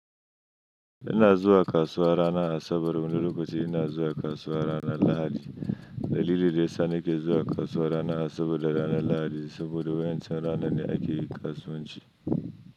Ina zuwa kasuwa ranar Asabar wuni lokaci ina zuwa kasuwa ranar Lahadi. Dalilin da ya sa nake zuwa kasuwa ranar Asabar da ranar Lahadi saboda wa'incan ranan ne ake yin kasuwanci.